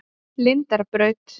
Lindarbraut